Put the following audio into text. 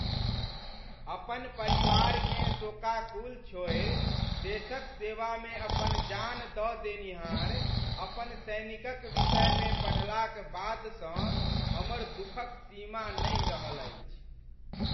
अपन परिवारकेँ शोकाकुल छोड़ि, देशक सेवामे अपन जान दऽ देनिहार अपन सैनिकक विषयमे पढ़लाक बादसँ हमर दुखक सीमा नहि रहल अछि।